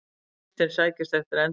Kristinn sækist eftir endurkjöri